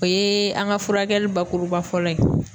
O yee an ŋa furakɛli bakuruba fɔlɔ ye.